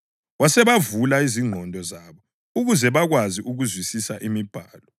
Wasebavula ingqondo zabo ukuze bakwazi ukuzwisisa imibhalo.